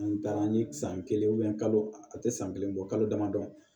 An taara an ye san kelen kalo a tɛ san kelen bɔ kalo damadɔ